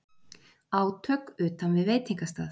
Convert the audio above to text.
Átök utan við veitingastað